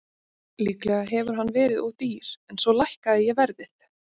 Líklega hefur hann verið of dýr en svo lækkaði ég verðið.